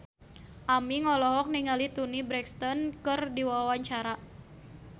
Aming olohok ningali Toni Brexton keur diwawancara